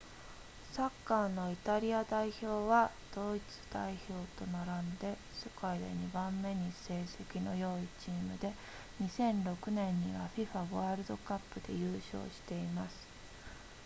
サッカーのイタリア代表はドイツ代表と並んで世界で2番目に成績の良いチームで2006年には fifa ワールドカップで優勝しています